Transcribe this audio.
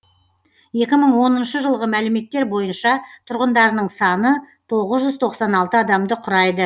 екі мың оныншы жылғы мәліметтер бойынша тұрғындарының саны тоғыз жүз тоқсан алты адамды құрайды